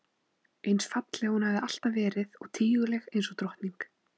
Eins falleg og hún hafði alltaf verið og tíguleg einsog drottning.